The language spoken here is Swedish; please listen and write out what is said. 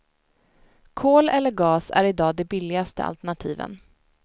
Kol eller gas är i dag de billigaste alternativen.